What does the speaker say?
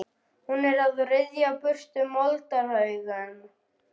Hún er að ryðja burtu moldarhaugum og stóru grjóti.